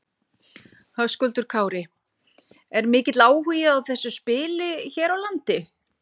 Höskuldur Kári: Er mikill áhugi á þessu spili hér á landi?